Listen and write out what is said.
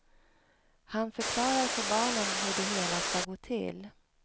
Han förklarar för barnen hur det hela ska gå till.